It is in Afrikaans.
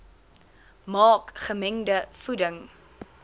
maak gemengde voeding